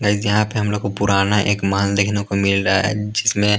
guys यहाँ पे हम लोग को पुराना एक माल देखने को मिल रहा है जिसमें --